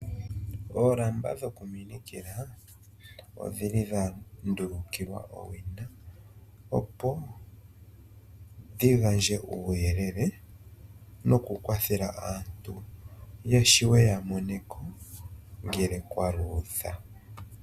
Oolamba dhoku minikila, odhili dha ndulukilwa owina, opo dhi gandje uuyelele nokukwathela aantu ya shiwe ya moneko, ngele kwa luudha.